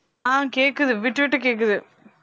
ஆஹ் கேக்குது விட்டு விட்டு கேக்குது